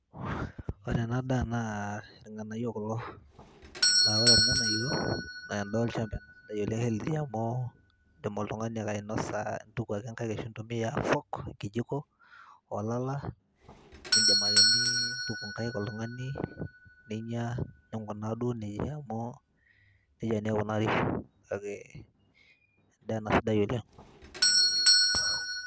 ore ena daa naa irng'anayio kulo naa ore irng'anayio naa endaa olchamba ena sidai oleng healthy amu indim oltung'ani ake ainosa intuku ake inkaik ashu intumia fork enkijiko olala, nindim ake nintuku inkaik oltung'ani neinyia ninkunaa duo nejia amu nejia naa ikunari kake endaa ena sidai oleng.